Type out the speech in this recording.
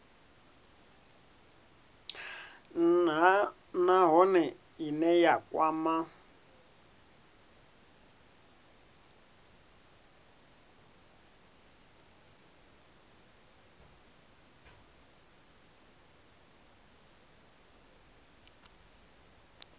nha nahone ine ya kwama